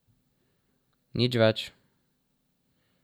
Nič več.